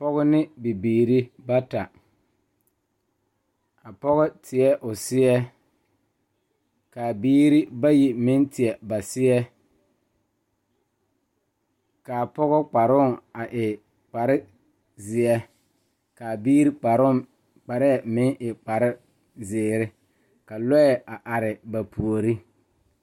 Kuriwiire la ka dɔɔba banuu a zɔŋ a a kuriwiire kaŋa eɛ ziɛ kyɛ taa peɛle kaa kuriwiire mine e sɔglɔ kyɛ ka konkobile fare a kuriwiire poɔ a e doɔre.